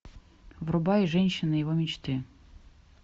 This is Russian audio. врубай женщина его мечты